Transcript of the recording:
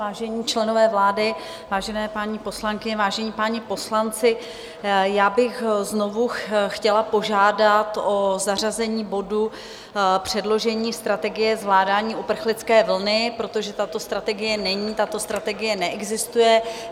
Vážení členové vlády, vážené paní poslankyně, vážení páni poslanci, já bych znovu chtěla požádat o zařazení bodu Předložení strategie zvládání uprchlické vlny, protože tato strategie není, tato strategie neexistuje.